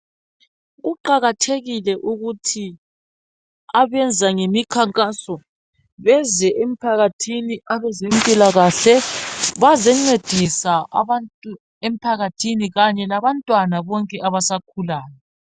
Kuqakathekile ukuthi abenza ngemikhankaso beze emphakathini abezempilakahle bazencedisa abantu emphakathini kanye labantwana bonke abasakhulayo